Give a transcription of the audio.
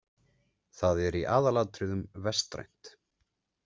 Það er í aðalatriðum vestrænt.